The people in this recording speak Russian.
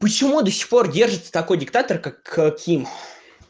почему до сих пор держится такой диктатор как ким